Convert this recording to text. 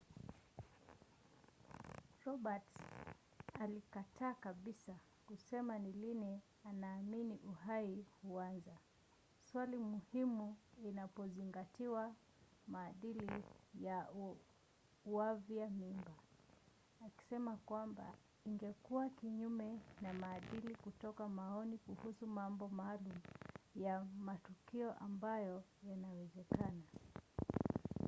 roberts alikataa kabisa kusema ni lini anaamini uhai huanza swali muhimu inapozingatiwa maadili ya uavyaji mimba akisema kwamba ingekuwa kinyume na maadili kutoa maoni kuhusu mambo maalum ya matukio ambayo yanawezekana